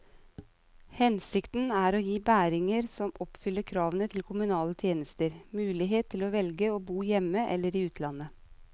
Hensikten er å gi bæringer som oppfyller kravene til kommunale tjenester, mulighet til å velge å bo hjemme eller i utlandet.